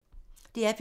DR P3